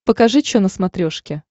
покажи че на смотрешке